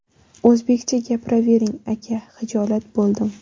O‘zbekcha gapiravering, aka!” Xijolat bo‘ldim.